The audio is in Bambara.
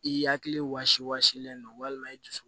I hakili wasi wa seelen don walima i dusu